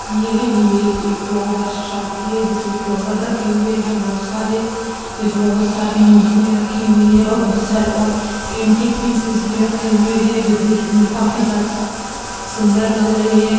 ये इमेज एक flower shop की है जिसमें फ्लावर रखे हुए हैं बहुत सारे जिसमें बहुत सारी मूर्ति रखी हुई हैं बहुत सारे और एंटीक पीसेस भी रखे हुए हैं जो देखने में काफी ज्यादा सुंदर लग रहे है।